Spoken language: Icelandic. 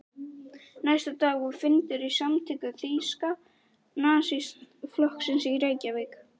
Næsta dag var fundur í samtökum Þýska nasistaflokksins í Reykjavík.